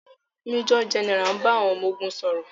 Méjọ̀ gẹ́nẹrà ń bá àwọn ọmọ ogun sọ̀rọ̀.